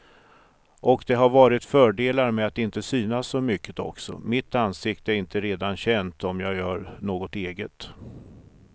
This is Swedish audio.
Och det har varit fördelar med att inte synas så mycket också, mitt ansikte är inte redan känt om jag gör något eget.